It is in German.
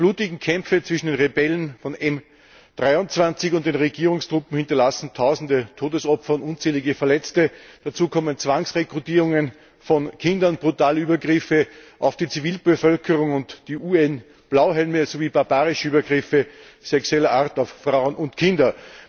Die blutigen Kämpfe zwischen den Rebellen von M23 und den Regierungstruppen hinterlassen tausende Todesopfer und unzählige Verletzte, dazu kommen Zwangsrekrutierungen von Kindern, brutale Übergriffe auf die Zivilbevölkerung und die UN Blauhelme sowie barbarische Übergriffe sexueller Art auf Frauen und Kinder.